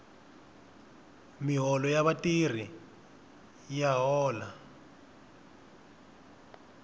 miholo ya vatirhi ya miholo